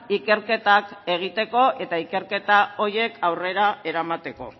ikerketak egiteko eta ikerketa horiek aurrera eramateko